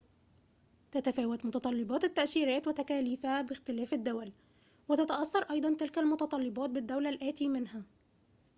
تتفاوت متطلبات التأشيرات وتكاليفها باختلاف الدول وتتأثر أيضاً تلك المتطلبات بالدولة الآتي منها